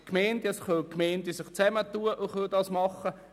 Die Gemeinden können sich zusammentun und dies machen.